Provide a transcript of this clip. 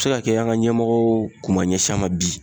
A be se ka kɛ an ka ɲɛmɔgɔw kun ma ɲɛsi a ma bi